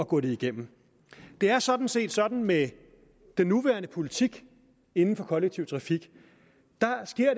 gå det igennem det er sådan set sådan med den nuværende politik inden for kollektiv trafik